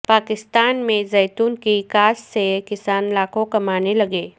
پاکستان میں زیتون کی کاشت سے کسان لاکھوں کمانے لگے